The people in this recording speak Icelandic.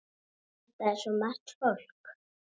Þetta er svo margt fólk.